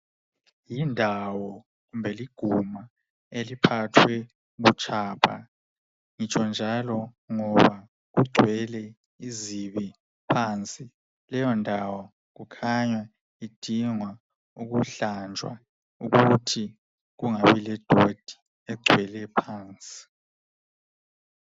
Yindawo kumbe liguma eliphathwe butshapha, ngitsho njalo ngoba kugcwele izibi phansi. Leyo ndawo kukhanya idingwa ukuhlanjwa ukuthi kungabi ledoti egcwele phansi.